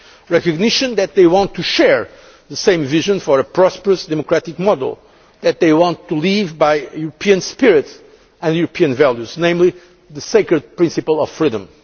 ago recognition that they want to share the same vision for a prosperous, democratic model, and that they want to live by the European spirit and values, namely the sacred principle of freedom.